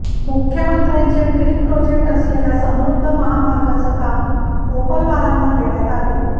मुख्यमंत्र्यांचे dream project असलेल्या समृद्ध महामार्गाचं काम मोपलवारांना देण्यात आले